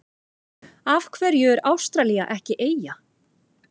Af hverju er Ástralía ekki eyja?